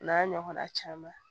O n'a ɲɔgɔn na caman